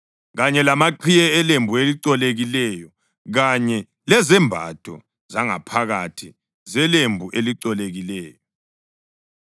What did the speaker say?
kanye lamaqhiye elembu elicolekileyo, kanye lezembatho zangaphakathi zelembu elicolekileyo.